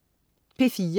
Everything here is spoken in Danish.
P4: